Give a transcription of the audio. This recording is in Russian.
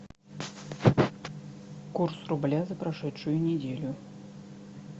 курс рубля за прошедшую неделю